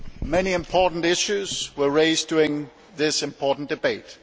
Many important issues were raised during this important debate.